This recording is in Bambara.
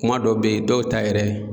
Kuma dɔ be yen dɔw ta yɛrɛ